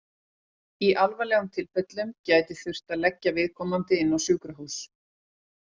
Í alvarlegum tilfellum gæti þurft að leggja viðkomandi inn á sjúkrahús.